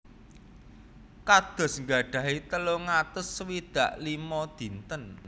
Kados gadhahi telung atus swidak limo dinten